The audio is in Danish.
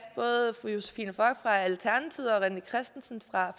både fru josephine fock fra alternativet og herre rené christensen fra